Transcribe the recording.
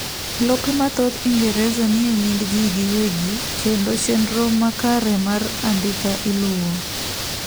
lope mathoth ingereza nie nying jii giwegi kendo chendro makare mar andika iluwo